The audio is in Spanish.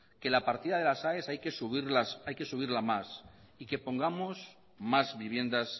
que la partida de las aes hay que subirla más y que pongamos más viviendas